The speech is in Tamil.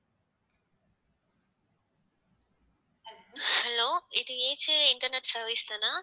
hello இது ஏஜே இன்டர்நெட் service தானா